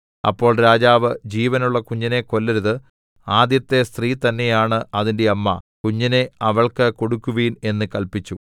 അപ്പോൾ രാജാവ് ജീവനുള്ള കുഞ്ഞിനെ കൊല്ലരുത് ആദ്യത്തെ സ്ത്രീ തന്നെയാണ് അതിന്റെ അമ്മ കുഞ്ഞിനെ അവൾക്ക് കൊടുക്കുവിൻ എന്ന് കല്പിച്ചു